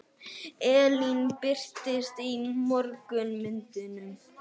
Ellin birtist í mörgum myndum.